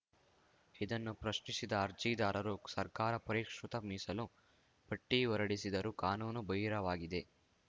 ಇದನ್ನು ಪ್ರಶ್ನಿಸಿದ್ದ ಅರ್ಜಿದಾರರು ಸರ್ಕಾರ ಪರಿಷ್ಕೃತ ಮೀಸಲು ಪಟ್ಟಿಹೊರಡಿಸಿದರು ಕಾನೂನು ಬಹಿರವಾಗಿದೆ